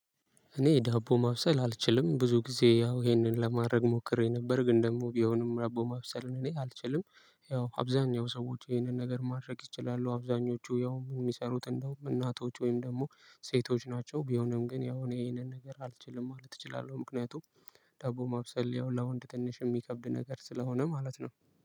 እኔ ዳቦ ማብሰል አልችልም ብዙ ጊዜ ያው ይሄንን ለማድረግ ሞክሬ ነበር ግን ደግሞ ቢሆንም ዳቦ ማብሰልን እኔ አልችልም። ያው አብዛኛው ሰዎች ይሄንን ነገር ማድረግ ይችላሉ። አብዛኞቹ ያው የሚሰሩት እንደውም እናቶች ወይም ደግሞ ሴቶች ናቸው። ቢሆንም ግን ያው ይሄንን ነገር አልችልም ማለት እችላለሁ ምክንያቱም። ዳቦ ማብሰል ያው ለወንድ ትንሽ የሚከብድ ነገር ስለሆነ ማለት ነው።